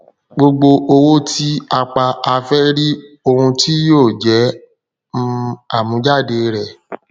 gbogbo owó tí a pa a fẹ ríi ohun tí yóò jẹ um àmújáde rẹ